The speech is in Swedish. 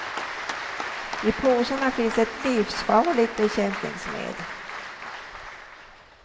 I påsarna finns ett livsfarligt bekämpningsmedel.